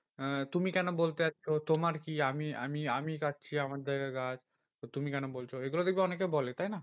আহ তুমি কেন বলতে যাচ্ছো? তোমার কি? আমি আমি আমি কাটছি আমার জায়গায় গাছ। তো তুমি কেন বলছো এগুলো দেখবি অনেকে বলে তাইনা